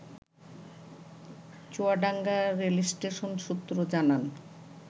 Chuadanga rail station সূত্র জানান